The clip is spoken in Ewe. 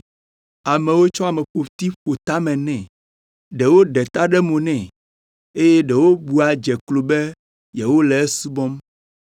Amewo tsɔ ameƒoti ƒo tame nɛ. Ɖewo ɖe ta ɖe mo nɛ, eye ɖewo bua dze klo be yewole esubɔm.